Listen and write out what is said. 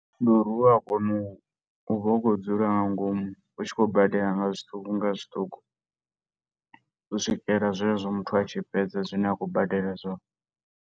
Ndi uri u wa kona, u vha u khou dzula nga ngomu, u tshi khou badela nga zwiṱuku nga zwiṱuku, u swikela zwezwo muthu a tshi fhedza zwine a khou badela zwone.